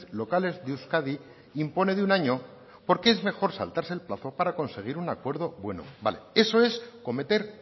locales de euskadi impone de un año porque es mejor saltarse el plazo para conseguir un acuerdo bueno vale eso es cometer